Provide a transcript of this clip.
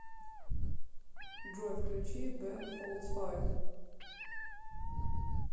джой включи бен фолдс файв